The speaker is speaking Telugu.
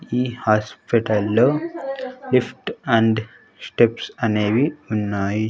ఈ హాస్పిటల్లో లిఫ్ట్ అండ్ స్టెప్స్ అనేవి ఉన్నాయి.